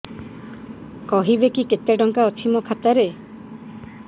କହିବେକି କେତେ ଟଙ୍କା ଅଛି ମୋ ଖାତା ରେ